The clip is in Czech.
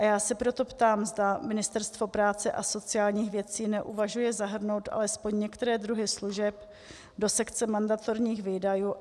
A já se proto ptám, zda Ministerstvo práce a sociálních věcí neuvažuje zahrnout alespoň některé druhy služeb do sekce mandatorních výdajů.